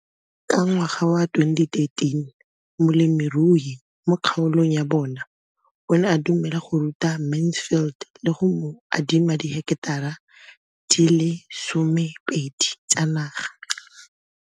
Ka ngwaga wa 2013, molemirui mo kgaolong ya bona o ne a dumela go ruta Mansfield le go mo adima di heketara di le 12 tsa naga.